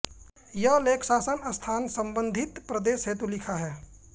यह लेख शासनस्थान सम्बन्धित प्रदेश हेतु लिखा है